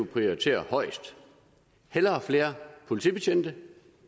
prioritere højest hellere flere politibetjente